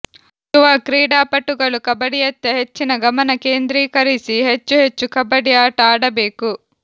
ಯುವ ಕ್ರೀಡಾಪಟುಗಳು ಕಬ್ಬಡಿಯತ್ತ ಹೆಚ್ಚಿನ ಗಮನ ಕೇಂದ್ರಿಕರಿಸಿ ಹೆಚ್ಚು ಹೆಚ್ಚು ಕಬ್ಬಡಿ ಆಟ ಆಡಬೇಕು